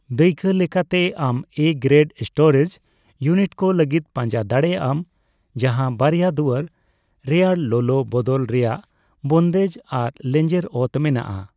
ᱫᱟᱹᱭᱠᱟᱹ ᱞᱮᱠᱟᱛᱮ, ᱟᱢ 'ᱮᱼᱜᱨᱮᱰ' ᱥᱴᱳᱨᱮᱡ ᱤᱩᱱᱤᱴᱠᱚ ᱞᱟᱹᱜᱤᱫ ᱯᱟᱡᱟᱸ ᱫᱟᱲᱮᱭᱟᱜᱼᱟᱢ ᱡᱟᱦᱟᱸ ᱵᱟᱨᱭᱟ ᱫᱩᱣᱟᱹᱨ, ᱨᱮᱭᱟᱲᱞᱚᱞᱚ ᱵᱚᱫᱚᱞ ᱨᱮᱭᱟᱜ ᱵᱚᱱᱫᱮᱡ ᱟᱨ ᱞᱮᱡᱮᱸᱨ ᱚᱛ ᱢᱮᱱᱟᱜᱼᱟ ᱾